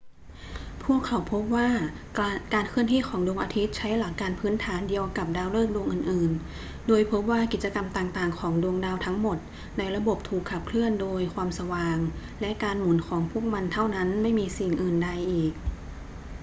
พวกเขาพบว่าการเคลื่อนที่ของดวงอาทิตย์ใช้หลักการพื้นฐานเดียวกับดาวฤกษ์ดวงอื่น ๆ โดยพบว่ากิจกรรมต่าง ๆ ของดวงดาวทั้งหมดในระบบถูกขับเคลื่อนโดยความสว่างและการหมุนของพวกมันเท่านั้น ไม่มีสิ่งอื่นใดอีก